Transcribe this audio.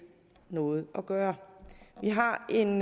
noget at gøre vi har en